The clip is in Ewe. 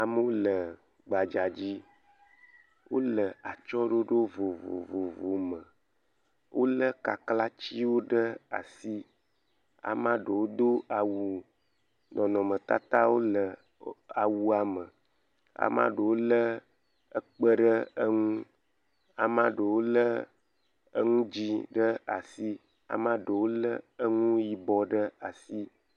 Amewo le gbadza dzi wole atsyɔ̃ɖoɖo vovovovowo me. Wolé kaklatiwo ɖe asi, ame aɖewo do awu nɔnɔmetata wole awua me, ame aɖewo lé kpe ɖe enu, ɖewo lé nu dzɛ̃ ɖe asi ɖewo lé enu yibɔ ɖe asi.